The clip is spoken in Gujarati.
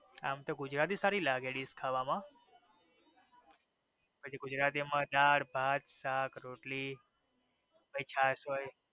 આમ તો ગુજરાતી થાળી સારી લાગે dish ખાવા માં દાળ ભાત શાક રોટલી પછી છાસ હોઈ